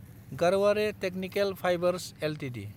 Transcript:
Garware technical fibres Ltd